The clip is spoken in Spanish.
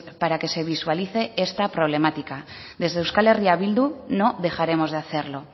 para que se visualice esta problemática desde euskal herria bildu no dejaremos de hacerlo